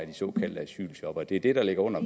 de såkaldte asylshoppere det er det der ligger under